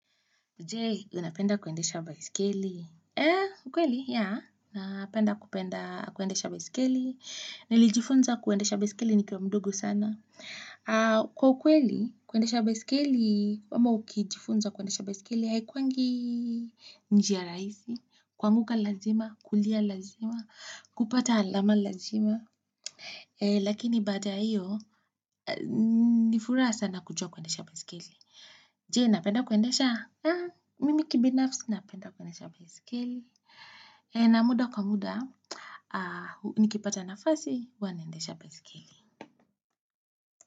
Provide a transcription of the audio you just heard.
Jee, unapenda kuendesha baiskeli? Eee, ukweli, yeah, napenda kupenda kuendesha baiskeli. Nilijifunza kuendesha baiskeli nikiwa mdogo sana. Kwa ukweli, kuendesha baisikeli, wama ukijifunza kuendesha baisikeli, haikuangi njia rahisi, kuanguka lazima, kulia lazima, kupata alama lazima. Lakini baada ya hiyo, ni furaha sana kujua kuendesha baisikeli. Jee, napenda kuendesha? Mimi kibinafsi napenda kuendesha baiskeli. Na muda kwa muda, nikipata nafasi huwa naendesha baiskeli.